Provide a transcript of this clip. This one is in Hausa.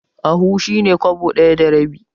Ahu shi ne kwabo ɗaya da rabi.